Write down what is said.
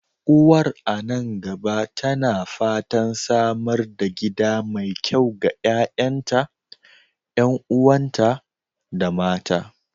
Uwar a nan gaba tana fatan samar da gida mai kyau ga ƴa'ƴanta, ƴan'uwanta, da mata.